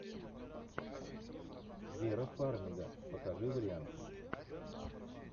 вера фармига покажи варианты